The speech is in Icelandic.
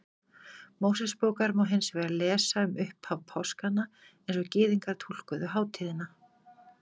Mósebókar má hins vegar lesa um upphaf páskanna eins og Gyðingar túlkuðu hátíðina.